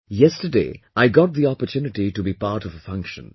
Yesterday I got the opportunity to be part of a function